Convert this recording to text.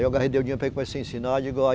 Eu o dinheiro para ele começar a ensinar. digo olhe